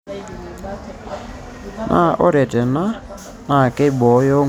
Naa ore tena naakeibooyo nkulupuok pee meibukoo enkare oleng.